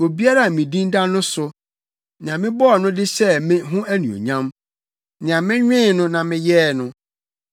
obiara a me din da no so, nea mebɔɔ no de hyɛɛ me ho anuonyam, nea menwen no na meyɛɛ no.”